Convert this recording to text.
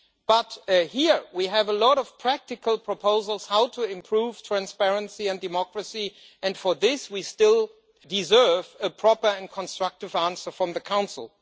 But here we have a lot of practical proposals on how to improve transparency and democracy, and for this we still deserve a proper and constructive answer from the Council.